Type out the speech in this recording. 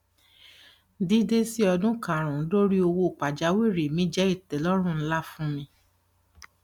dídé sí ọdún karùnún lórí owó pajawiri mi jẹ ìtẹlọrun ńlá fún mi